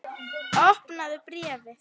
Opnaðu bréfið!